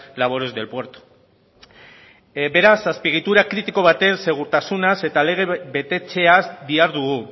labores del puerto beraz azpiegitura kritiko baten segurtasunaz eta lege betetzeaz dihardugu